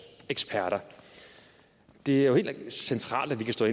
eksperter det er jo helt centralt at vi kan stå